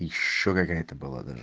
ещё какая-то была даже